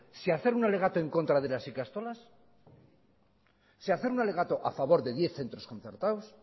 si hacer un alegato en contra de las ikastolas si hacer un alegato a favor de diez centros concertados